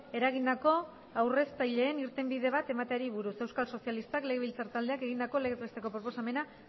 eragindako aurreztaileei irtenbide bat emateari buruz euskal sozialistak legebiltzar taldeak egindako legez besteko proposamena